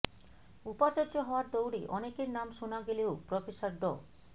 উপাচার্য হওয়ার দৌড়ে অনেকের নাম শোনা গেলেও প্রফেসর ড